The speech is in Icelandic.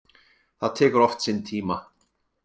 Það tekur oft sinn tíma.